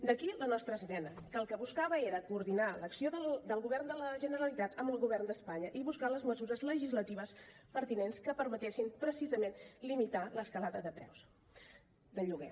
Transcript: d’aquí la nostra esmena que el que buscava era coordinar l’acció del govern de la generalitat amb el govern d’espanya i buscar les mesures legislatives pertinents que permetessin precisament limitar l’escalada de preus de lloguer